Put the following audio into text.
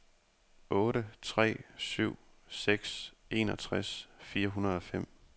otte tre syv seks enogtres fire hundrede og fem